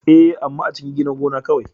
Ee, amma a cikin gidan gona kawai.